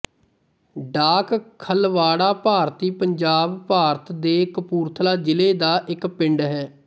ਡਾਕ ਖਲਵਾੜਾ ਭਾਰਤੀ ਪੰਜਾਬ ਭਾਰਤ ਦੇ ਕਪੂਰਥਲਾ ਜ਼ਿਲ੍ਹਾ ਦਾ ਇੱਕ ਪਿੰਡ ਹੈ